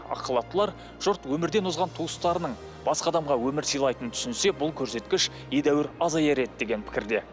ақ халаттылар жұрт өмірден озған туыстарының басқа адамға өмір сылайтынын түсінсе бұл көрсеткіш едәуір азаяр еді деген пікірде